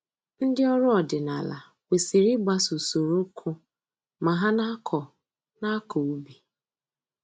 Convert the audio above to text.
Ndị ọrụ ọdịnaala kwesịrị ịgbaso usoro uku ma ha na-akọ na-akọ ubi